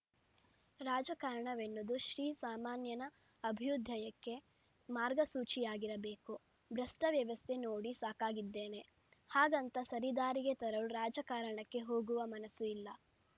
ರಾಜಕಾರಣವೆನ್ನುವುದು ಶ್ರೀಸಾಮಾನ್ಯನ ಅಭ್ಯುದಯಕ್ಕೆ ಮಾರ್ಗಸೂಚಿಯಾಗಿರಬೇಕು ಭ್ರಷ್ಟವ್ಯವಸ್ಥೆ ನೋಡಿ ಸಾಕಾಗಿದ್ದೇನೆ ಹಾಗಂತ ಸರಿದಾರಿಗೆ ತರಲು ರಾಜಕಾರಣಕ್ಕೆ ಹೋಗುವ ಮನಸ್ಸು ಇಲ್ಲ